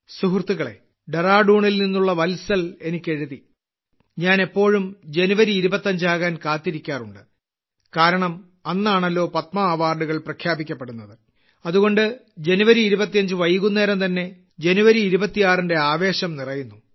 സുഹൃത്തുക്കളേ ഡെറാഡൂണിൽ നിന്നുള്ള വത്സൽ എനിക്ക് എഴുതി ഞാൻ എപ്പോഴും ജനുവരി 25 ആകാൻ കാത്തിരിക്കാറുണ്ട് കാരണം അന്നാണല്ലോ പത്മാ അവാർഡുകൾ പ്രഖ്യാപിക്കപ്പെടുന്നത് അതുകൊണ്ട് ജനുവരി 25 വൈകുന്നേരംതന്നെ ജനുവരി 26ന്റെ ആവേശം നിറയുന്നു